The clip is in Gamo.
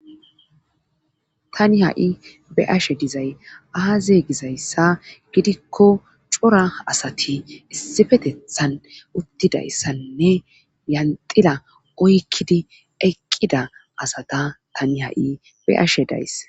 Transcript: tani ha7i be'ashe dizay aaze gizayssa gidikko cora asati issifetethan uttidayssanne yanxila oykkidi eqqida asata tani ha7i be'ashe days